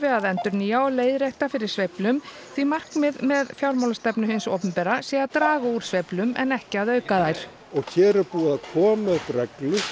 að endurnýja og leiðrétta fyrir sveiflum því markmið með fjármálastefnu hins opinbera sé að draga úr sveiflum en ekki að auka þær og hér er búið að koma upp reglu